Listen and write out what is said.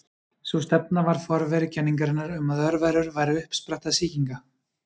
Sú stefna var forveri kenningarinnar um að örverur væru uppspretta sýkinga.